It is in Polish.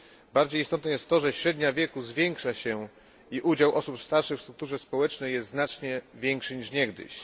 Bardziej istotne jest to, że średnia wieku zwiększa się i udział osób starszych w strukturze społecznej jest znacznie większy niż niegdyś.